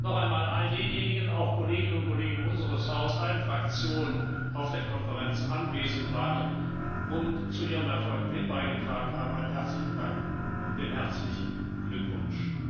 uns sprechen. Noch einmal all denjenigen, auch Kolleginnen um Kollegen aus allen Fraktionen unseres Hauses, die auf der Konferenz anwesend waren und zu ihrem Erfolg mit beigetragen haben, einen herzlichen Dank und herzlichen Glückwunsch!